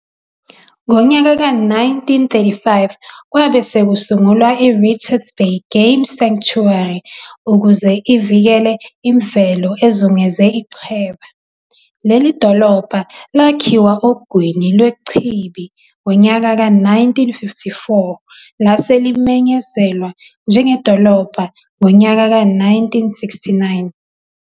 Ngonyaka ka-1935 kwabe sekusungulwa i-Richards Bay Game Sanctuary ukuze ivikele imvelo ezungeze ichweba. Leli dolobha lakhiwa ogwini lwechibi ngonyaka ka-1954 lase limenyezelwa njengedolobha ngonyaka ka-1969.